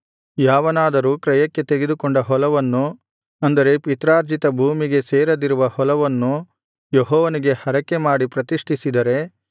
ಯಾವನಾದರೂ ಕ್ರಯಕ್ಕೆ ತೆಗೆದುಕೊಂಡ ಹೊಲವನ್ನು ಅಂದರೆ ಪಿತ್ರಾರ್ಜಿತ ಭೂಮಿಗೆ ಸೇರದಿರುವ ಹೊಲವನ್ನು ಯೆಹೋವನಿಗೆ ಹರಕೆಮಾಡಿ ಪ್ರತಿಷ್ಠಿಸಿದರೆ